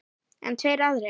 En tveir aðrir